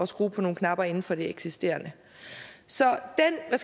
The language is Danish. skrue på nogle knapper inden for det eksisterende så